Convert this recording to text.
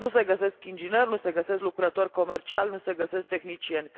Nu se găsesc ingineri, nu se găsesc lucrători comerciali, nu se găsesc tehnicieni.